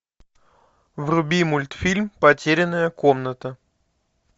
вруби мультфильм потерянная комната